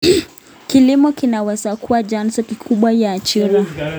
Kilimo kinaweza kuwa chanzo kikubwa cha ajira.